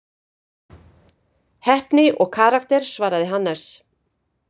Heppni og karakter svaraði Hannes.